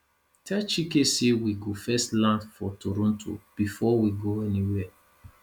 tell chike say we go first land for toronto before we go anywhere